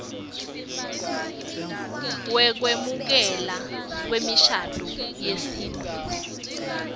wekwemukelwa kwemishado yesintfu